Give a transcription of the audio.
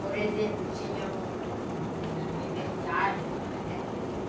Por exemplo, tinha um um aniversário, né?